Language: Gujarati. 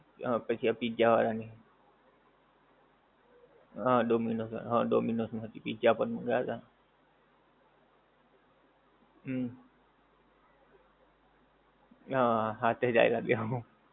હા પછી આ પીઝ્ઝા વાળાં ની. હા ડોમીનોઝ, હા ડોમીનોઝ માંથી પીઝ્ઝા પણ મંગાવ્યા હતા. હમ્મ. હા હાથેજ આયવા બેવ.